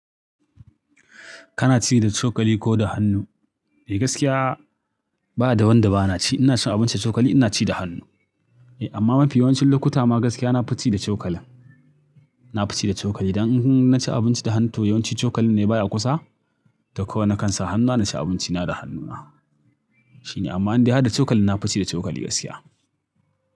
Kana ci da cokali ko da hannu? Eh gaskiya ba da wanda ba na ci. Ina cin abinci da cokali, ina ci da hannu. Eh amma mafi yawancin lokuta ma gaskiya na fi ci da cokalin. Na fi ci da cokali. Dan in na ci abinci da hannu toh yawanci cokalin ne baya kusa. Da ko na kansa hannuna na ci abinci na da hannuna. Shine amma in dai haɗa cokali na fi ci da cokali gaskiya.